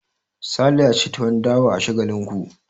Sale ya ci tuwon dawa a Shagalinku.